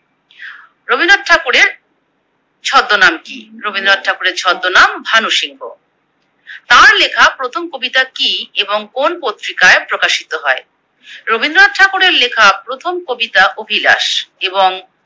ছদ্দ নাম কি? রবীন্দ্রনাথ ঠাকুরের ছদ্দ নাম ভানু সিংহ। তার লেখা প্রথম কবিতা কি এবং কোন পত্রিকায় প্রকাশিত হয়? রবীন্দ্রনাথ ঠাকুরের লেখা প্রথম কবিতা অভিলাষ।